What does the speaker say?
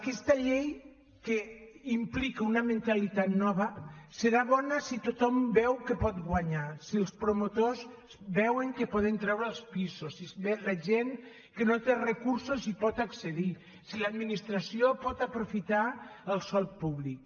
aquesta llei que implica una mentalitat nova serà bona si tothom veu que pot guanyar si els promotors veuen que poden treure els pisos si la gent que no té recursos hi pot accedir i si l’administració pot aprofitar el sòl públic